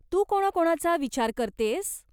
तू कोणाकोणाचा विचार करतेयस ?